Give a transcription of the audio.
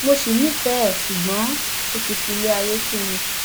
mo ṣì nífẹẹ ẹ ṣùgbọn ó ti filé ayé sú mi